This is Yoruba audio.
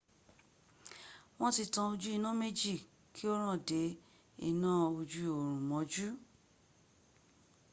won ti tan oju ina meji ki o ran de ina oju orun moju